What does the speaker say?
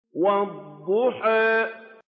وَالضُّحَىٰ